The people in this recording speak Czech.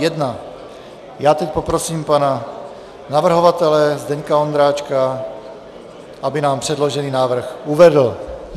Já teď poprosím pana navrhovatele Zdeňka Ondráčka, aby nám předložený návrh uvedl.